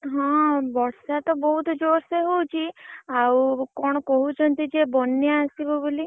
ହଁ ବର୍ଷା ତ ବହୁତ୍ ଯୋରସେ ହଉଚି। ଆଉ କଣ କହୁଛନ୍ତି ଯେ ବନ୍ୟା ଆସିବ ବୋଲି।